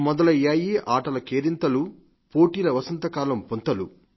మొదలయ్యాయి ఆటలు కేరింతలుపోటీల వసంతకాలం పుంతలు